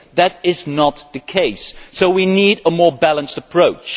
That is not the case so we need a more balanced approach.